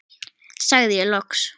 sagði ég loks.